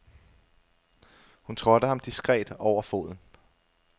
Hun trådte ham diskret over foden.